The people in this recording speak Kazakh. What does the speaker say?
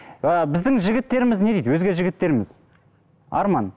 ыыы біздің жігіттеріміз не дейді өзге жігіттеріміз арман